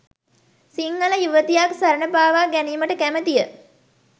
සිංහල යුවතියක් සරණ පාවා ගැනිමට කැමතිය